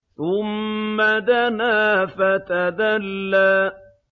ثُمَّ دَنَا فَتَدَلَّىٰ